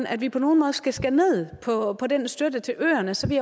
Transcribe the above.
at vi på nogen måde skal skære ned på på den støtte til øerne så vil